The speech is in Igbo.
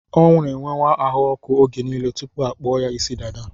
Ọ n'enwe ahụọkụ oge niile tụpụ akpụọ ya ịsị dada